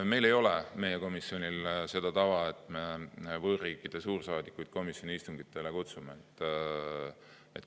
Meie komisjonil ei ole seda tava, et me võõrriikide suursaadikuid komisjoni istungitele kutsume.